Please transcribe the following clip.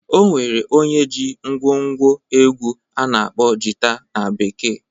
O nwere onye jii ngwo ngwo egwu a na-akpọ Jita na bekee.